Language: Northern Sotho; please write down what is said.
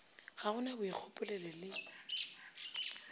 ga go na boikgopolelo le